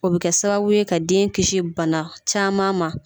O bɛ kɛ sababu ye ka den kisi bana caman ma.